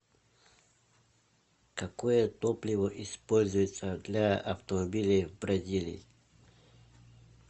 какое топливо используется для автомобилей в бразилии